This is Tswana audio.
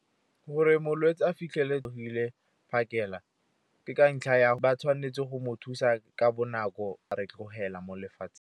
Gore molwetse a fitlhele a tswile phakela, ke ka ntlha ya ba tshwanetse go mo thusa ka bonako a re tlogela mo lefatsheng.